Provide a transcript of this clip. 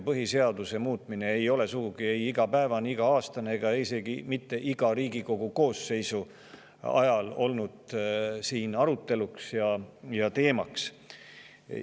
Põhiseaduse muutmine ei ole sugugi mitte iga päev, iga aasta ega isegi mitte iga Riigikogu koosseisu ajal siin arutelu all ja teemaks olnud.